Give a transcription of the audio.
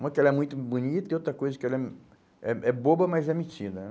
Uma que ela é muito bonita e outra coisa que ela é hum é é boba, mas é metida né?